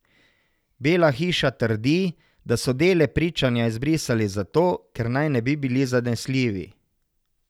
Bela hiša trdi, da so dele pričanja izbrisali zato, ker naj ne bi bili zanesljivi.